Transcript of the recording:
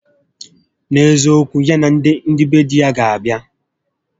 N'eziokwu, ya na ndị be di ya ga abịa